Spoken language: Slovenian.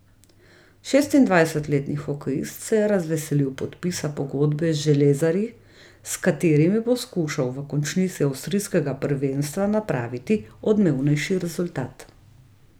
Šestindvajsetletni hokejist se je razveselil podpisa pogodbe z železarji, s katerimi bo skušal v končnici avstrijskega prvenstva napraviti odmevnejši rezultat.